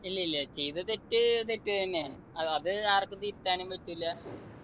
ഇല്ലില്ല ചെയ്ത തെറ്റ് തെറ്റ് തന്നെയാണ് അഹ് അത് ആർക്കും തിരുത്താനും പറ്റൂല